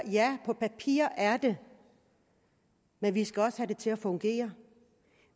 ja på papiret er det men vi skal også have det til at fungere